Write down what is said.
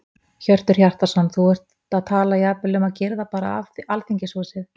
Hjörtur Hjartarson: Þú ert að tala jafnvel um að girða bara af Alþingishúsið?